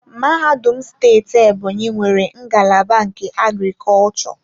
Mahadum steeti Ebonyi nwere ngalaba nke agriculture.